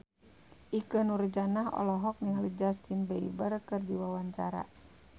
Ikke Nurjanah olohok ningali Justin Beiber keur diwawancara